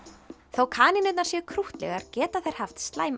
þótt kanínurnar séu krúttlegar geta þær haft slæm